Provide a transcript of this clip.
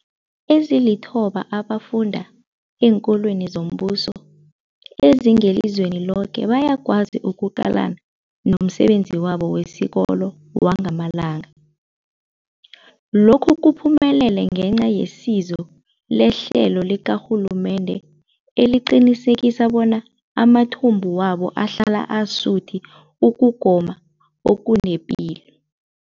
Ezilithoba abafunda eenkolweni zombuso ezingelizweni loke bayakwazi ukuqalana nomsebenzi wabo wesikolo wangamalanga. Lokhu kuphumelele ngenca yesizo lehlelo likarhulumende eliqinisekisa bona amathumbu wabo ahlala asuthi ukugoma okunepilo.